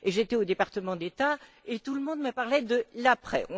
j'étais au Département d'État et tout le monde me parlait de l'après.